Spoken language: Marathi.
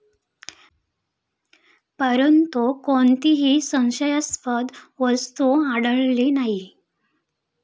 परंतु, कोणतीही संशयास्पद वस्तू आढळली नाही.